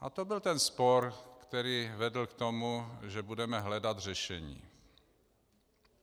A to byl ten spor, který vedl k tomu, že budeme hledat řešení.